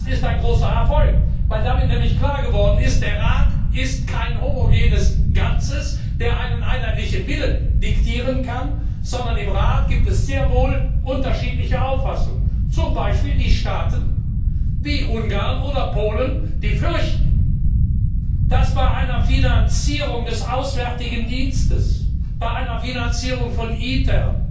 Das ist ein großer Erfolg, weil damit nämlich klar geworden ist, dass der Rat kein homogenes Ganzes ist, der einen einheitlichen Willen diktieren kann, sondern im Rat gibt es sehr wohl unterschiedliche Auffassungen, zum Beispiel bei Staaten wie Ungarn oder Polen, die fürchten, dass bei einer Finanzierung des Auswärtigen Dienstes, bei einer Finanzierung von ITER,